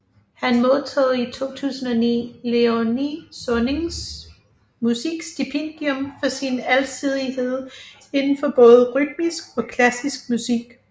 Han modtog i 2009 Léonie Sonnings Musikstipendium for sin alsidighed inden for både rytmisk og klassisk musik